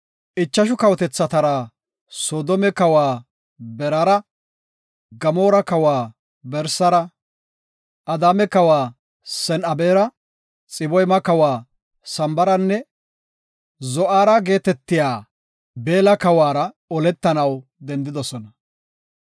ichashu kawotethatara, Soodome kawa Beraara, Gamoora kawa Bersara, Adaama kawa Sen7abera, Xiboyma kawa Sambaranne Zo7aara geetetiya Beella kawuwara oletanaw dendidosona.